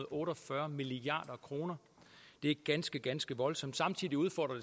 otte og fyrre milliard kroner det er ganske ganske voldsomt samtidig udfordrer